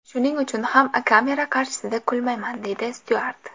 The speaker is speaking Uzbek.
Shuning uchun ham kamera qarshisida kulmayman”, deydi Styuart.